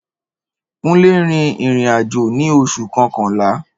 Kúnlé rin ìrìn àjò ní oṣù kọkànlá